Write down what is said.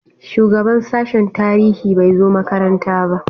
Shugaban sashen tarihi bai zo makaranta ba.